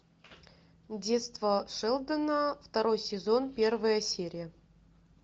детство шелдона второй сезон первая серия